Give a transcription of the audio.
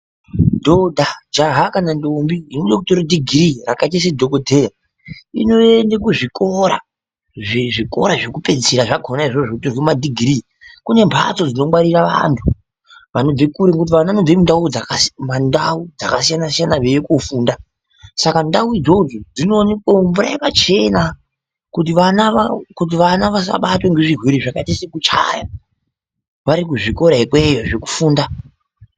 Dhodha ,Jaha kana ndombi inode kutore chitupa chefundo yepadera-dera semadhokodheya inoende kuchikora chekupedzisira chepadera-dera kona ikoko kune mhatso dzinongwarira vantu vanobve kure nekuti vana vanobve mandau dzakasiyanasiyana veingofunda saka ndau idzodzo dzinoonekwe mvura dzakachena kuti vana vasabatwa ngezvirwere zvakaita sekuchaya vari kuzvikora ikweyo zvekufunda.